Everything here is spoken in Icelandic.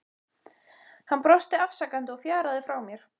Hann brosti afsakandi og fjaraði frá mér.